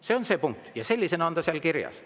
See on see punkt, sellisena on see seal kirjas.